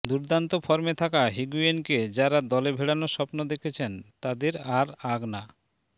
দুর্দান্ত ফর্মে থাকা হিগুয়েইনকে যারা দলে ভেড়ানোর স্বপ্ন দেখছেন তাদের আর আগ না